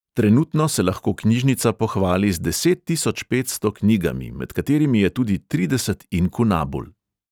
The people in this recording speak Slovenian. Trenutno se lahko knjižnica pohvali z deset tisoč petsto knjigami, med katerimi je tudi trideset inkunabul.